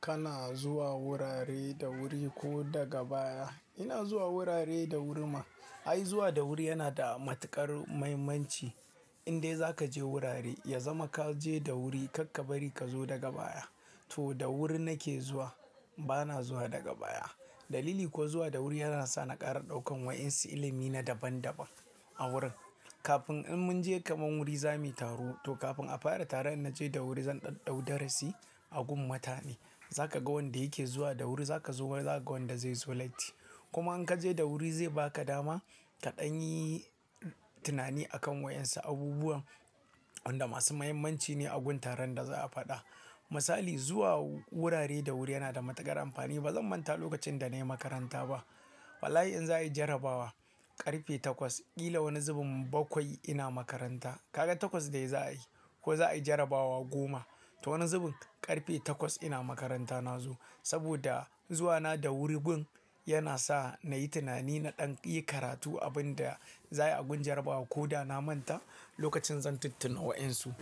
Kana zuwa wurare da wuri ko daga baya. Ina zuwa wurare da wuri ma. Ai zuwa da wuri yana da matuƙar muhimmanci. Indai za ka je wurare, ya zama ka je da wuri, karka bari ka zo daga baya. To da wuri nake zuwa, bana zuwa daga baya. Dalili kuwa zuwa da wuri yana sa na ƙara ɗaukan wa'insu ilimi na daban daban a wurin. Kafin in mun je kaman wuri za muyi taro to kafin a fara taron inna je da wuri, zan ɗau ɗau darasi a gun mutane. Za ka ga wanda yake zuwa da wuri, za ka zo ma, za ka ga wanda zai zo laiti. Kuma in ka je da wuri zai ba ka dama ka ɗan yi tunani akan wa'insu abubuwan wanda masu muhimmanci ne a gun taron da za a faɗa. Misali, zuwa wurare da wuri yana da matuƙar amfani. Ba zan manta lokacin da na yi makaranta ba. Wallahi in za a yi jarabawa ƙarfe takwas, ƙila wani zubin bakwai ina makaranta. Kaga takwas dai za a yi ko za a yi jarabawa goma, to wani zubin ƙarfe takwas ina makaranta na zo. Saboda zuwa na da wurin gun yana sa na yi tunani, na ɗan iya karatu abin da za a yi a gun jarabawan ko da na manta lokacin zan tuttuna wa'insu.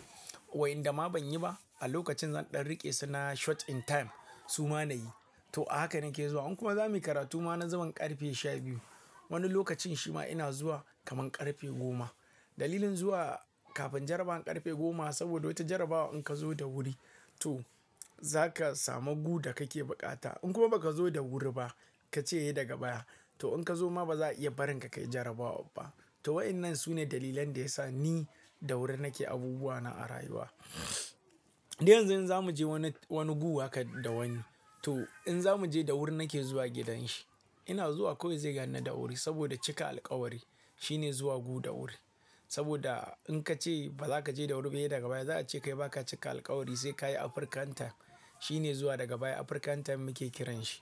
Wa inda ma ban yi ba, a lokacin zan ɗan riƙe su na short in time su ma na yi. To a haka nake zuwa. In kuma za muyi karatu ma na zaman ƙarfe sha biyu. Wani lokacin shi ma ina zuwa kaman ƙarfe goma. Dalilin zuwa kafin jarabawan ƙarfe goma saboda wata jarabawa in ka zo da wuri, to za ka samu gu da kake buƙata. In kuma ba ka zo da wuri ba, ka ce sai daga baya, to in ka zo ma ba za a iya barin ka kayi jarabawan ba. To wa'inan su ne dalilan da ya sa ni da wuri nake abubuwa na a rayuwa. Dan yanzu in za mu je wani, wani gu haka da wani, to in za mu je da wuri nake zuwa gidan shi. Ina zuwa kawai zai ganni da wuri saboda cika alkawari shine zuwa gu da wuri. Saboda in ka ce ba za ka je da wuri ba, sai daga baya, za a ce kai ba ka cika alkawari sai ka yi Afrikan time shine zuwa daga baya. Afrikan time muke kiran shi.